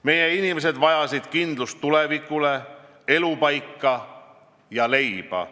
Meie inimesed vajasid kindlust tulevikule, elupaika ja leiba.